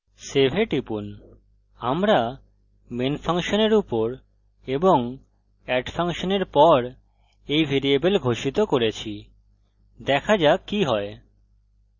save এ টিপুন আমরা main ফাংশনের উপর এবং add ফাংশনের পর a ভ্যারিয়েবল ঘোষিত করেছি দেখা যাক কি হয়